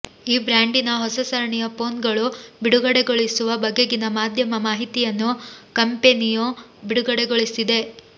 ಈ ಬ್ರ್ಯಾಂಡಿನ ಹೊಸ ಸರಣಿಯ ಫೋನ್ ಗಳು ಬಿಡಗಡೆಗೊಳಿಸುವ ಬಗೆಗಿನ ಮಾಧ್ಯಮ ಮಾಹಿತಿಯನ್ನು ಕಂಪೆನಿಯು ಬಿಡುಗಡೆಗೊಳಿಸಿದೆ